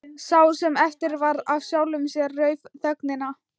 Sá sem eftir varð af sjálfum sér rauf þögnina.